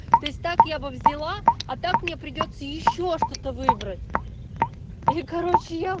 то есть так я бы взяла а так мне придётся ещё что-то выбрать и короче я